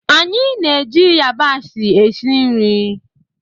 Anyị na-eji yabasị esi nri.